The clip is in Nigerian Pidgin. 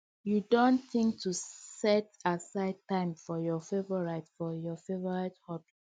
you don think to set aside time for your favorite for your favorite hobby